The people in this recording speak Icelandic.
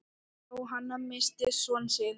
Jóhann missti son sinn.